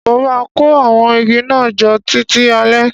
Mo má kó àwon igi náà jo títí alẹ́